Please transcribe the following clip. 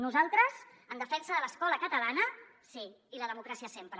nosaltres en defensa de l’escola catalana sí i la democràcia sempre